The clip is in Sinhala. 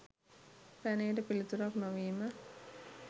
පැනයට පිළිතුරක් නොවීම